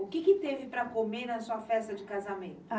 O que teve para comer na sua festa de casamento?